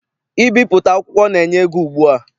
Ibipụta akwụkwọ na- enye ego ugbua.